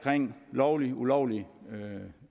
lovlig og ulovlig